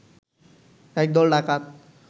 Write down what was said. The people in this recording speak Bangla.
এক দল ডাকাত